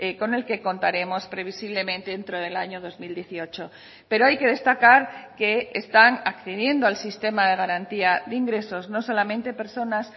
con el que contaremos previsiblemente dentro del año dos mil dieciocho pero hay que destacar que están accediendo al sistema de garantía de ingresos no solamente personas